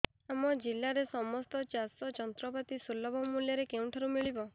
ଆମ ଜିଲ୍ଲାରେ ସମସ୍ତ ଚାଷ ଯନ୍ତ୍ରପାତି ସୁଲଭ ମୁଲ୍ଯରେ କେଉଁଠାରୁ ମିଳିବ